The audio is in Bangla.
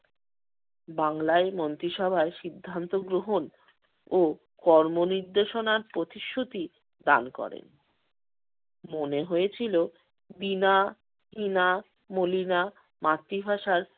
বাংলায় মন্ত্রীসভায় সিদ্ধান্ত গ্রহণ ও কর্ম-নির্দেশনার প্রতিশ্রুতি দান করেন। মনে হয়েছিল বীনা, টিনা, মলিনা মাতৃভাষার